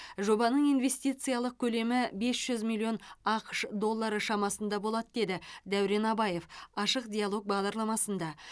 жобаның инвестициялық көлемі бес жүз миллион ақш доллары шамасында болады деді дәурен абаев ашық диалог бағдарламасында